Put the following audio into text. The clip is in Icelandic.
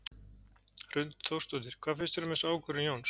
Hrund Þórsdóttir: Hvað finnst þér um þessa ákvörðun Jóns?